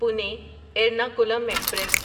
Pune Ernakulam express